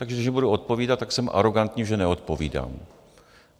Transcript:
Ale když nebudu odpovídat, tak jsem arogantní, že neodpovídám.